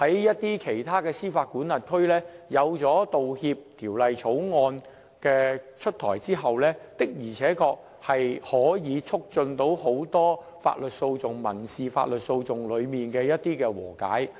一些司法管轄區在道歉法例出台後，的而且確能促進很多法律訴訟、民事法律訴訟的和解。